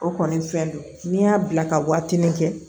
O kɔni fɛn don n'i y'a bila ka waatini kɛ